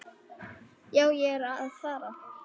Já, ég er að fara.